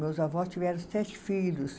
Meus avós tiveram sete filhos.